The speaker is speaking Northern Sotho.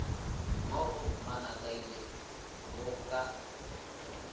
mo go manakaila bo ka